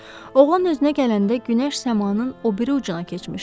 Oğlan özünə gələndə günəş səmanın o biri ucuna keçmişdi.